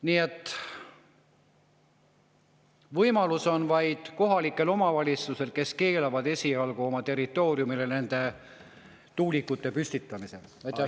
Nii et võimalus on vaid kohalikel omavalitsustel, kes keelavad esialgu nende tuulikute püstitamise oma territooriumile.